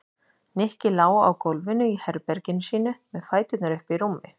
Nikki lá á gólfinu í herberginu sínu með fæturna uppi í rúmi.